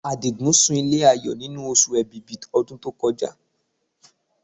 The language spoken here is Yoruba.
Àdìgún sun ilé Ayọ̀ nínú Oṣù Èbìbí ọdún tó kọjá